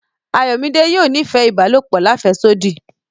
Ayọ̀midé yóò nífẹ̀ ibàlọpò làféṣodí.